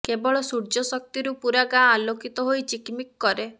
କେବଳ ସୂର୍ଯ୍ୟ ଶକ୍ତିରୁ ପୁରା ଗାଁ ଆଲୋକିତ ହୋଇ ଚିକମିକ କରେ